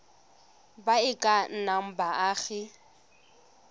ba e ka nnang baagi